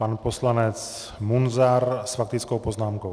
Pan poslanec Munzar s faktickou poznámkou.